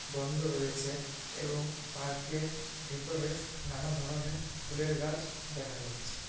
বন্ধ রয়েছে এবং পার্ক - এর ভেতরে নানা ধরণের ফুলের গাছ দেখা যাচ্ছে।